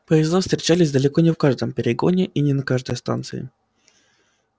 поезда встречались далеко не в каждом перегоне и не на каждой станции